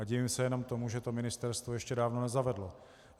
A divím se jenom tomu, že to ministerstvo ještě dávno nezavedlo.